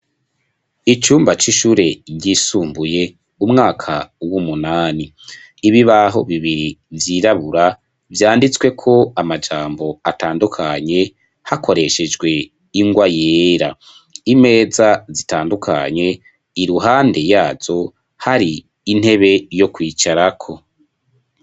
Icumba c'ishure ryisumbuye umwaka wumunani ibibaho bibiri vyirabura vyanditsweko amajambo atandukanye hakoreshejwe ingwa yera. Imeza zitandukanye iruhande yazo hari intebe yokwicarako.